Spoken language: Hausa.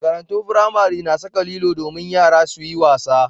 Makarantun firamare na saka lilo domin yara su yi wasa.